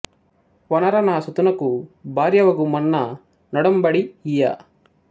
వొనర నా సుతునకు భార్య వగు మన్న నొడఁబడి యియ్య